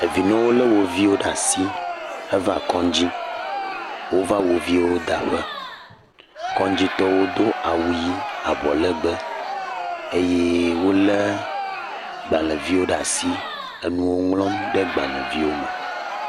Evinɔwo lé wo viwo ɖe asi eva kɔdzi. Wova wo viwo daƒe. Kɔdzitɔwo do awu ʋi abɔ legbẽ eye wolé agbalẽ viwo ɖe asi le nu ŋlɔm ɖe agbalẽ viwo me.